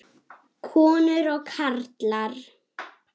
Konur og karlar.